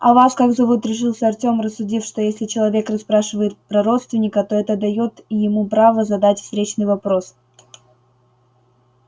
а вас как зовут решился артем рассудив что если человек расспрашивает про родственника то это даёт и ему право задать встречный вопрос